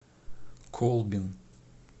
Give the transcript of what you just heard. колбин